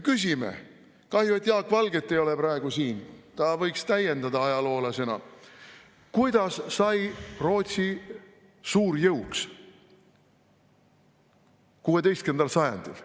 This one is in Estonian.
Küsime – kahju, et Jaak Valget ei ole praegu siin, ta võiks ajaloolasena täiendada –, kuidas sai Rootsi suurjõuks 16. sajandil.